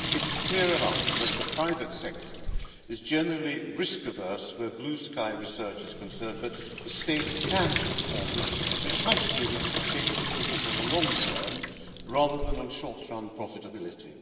It is clear enough that the private sector is generally risk averse where blue sky research is concerned, but the state can transform this, precisely because the state can focus on the long term rather than on short run profitability.